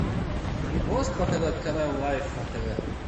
можешь показать канал лайф на тв